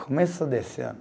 Começo desse ano